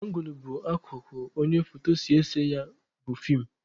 Angụl bụ akụkụ onye foto si ese ya bụ feem